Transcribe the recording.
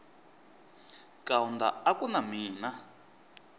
kaunda a ku na mina